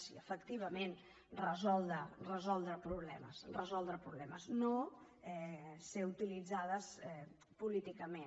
i efectivament resoldre problemes resoldre problemes no ser utilitzades políticament